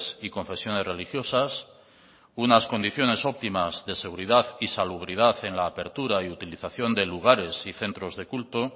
y confesiones religiosas unas condiciones óptimas de seguridad y salubridad en la apertura y utilización de lugares y centros de culto